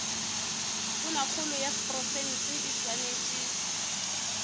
tonakgolo ya profense e swanetše